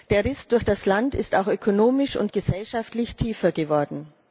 Der Riss durch das Land ist auch ökonomisch und gesellschaftlich tiefer geworden.